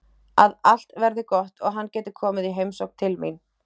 Að allt verði gott og hann geti komið í heimsókn til mín.